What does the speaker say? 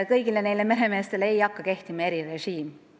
Kõigile meremeestele ei hakka see erirežiim kehtima.